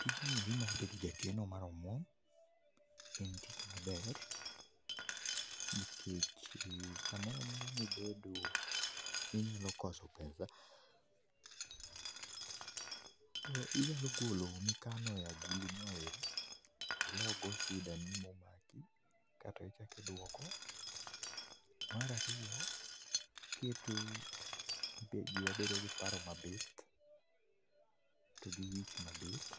Tijni eri mar bedo jakeno mar omwom en tich maber nikech samoramora mibedo inyalo koso pesa inyalo golo mikano e agulu noero tilogo sidani momaki ka to ichaki dwoko. Mar ariyo ,keto wiwa bedo gi paro mabith to gi wich mabith